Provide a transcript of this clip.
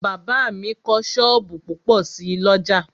Bàbá mi kọ́ sọ́ọ̀bù púpọ̀ sí l'ọ́jà